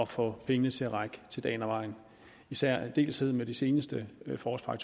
få pengene til at række til dagen og vejen i særdeleshed med den seneste forårspakke